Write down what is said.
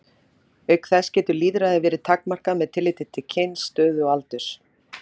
Auk þess getur lýðræði verið takmarkað með tilliti til kyns, stöðu og aldurs.